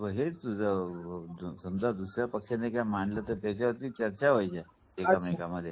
ते हेच समजा दुसऱ्या पक्षाने काही मांडलं तर त्याच्या वरती चर्चा व्हायची माध्यमामध्ये